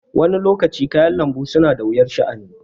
Wani lokacin kayan lanbu suna da wuyar sha' ani